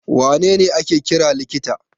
Wa ne ne ake kira likita?